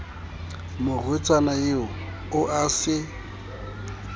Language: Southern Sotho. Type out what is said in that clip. morwetsana eo o a se